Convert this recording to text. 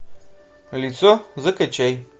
лицо закачай